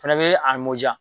Fɛnɛ be a mɔ diya.